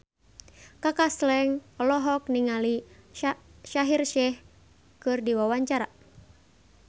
Kaka Slank olohok ningali Shaheer Sheikh keur diwawancara